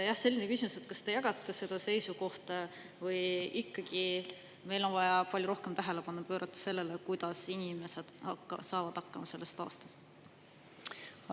Jah, selline küsimus: kas te jagate seda seisukohta või ikkagi meil on vaja palju rohkem tähelepanu pöörata sellele, kuidas inimesed hakkama saavad sellest aastast?